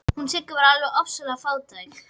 Hún Sigga var alveg ofsalega fátæk.